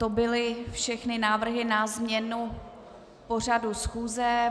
To byly všechny návrhy na změnu pořadu schůze.